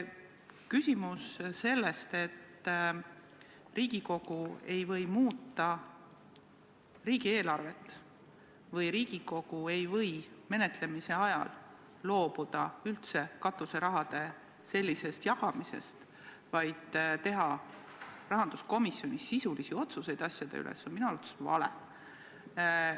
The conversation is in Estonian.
See, et Riigikogu ei või muuta riigieelarvet või Riigikogu ei või menetlemise ajal loobuda üldse katuseraha jagamisest, teha rahanduskomisjonis sisulisi otsuseid asjade üle, on minu arvates vale.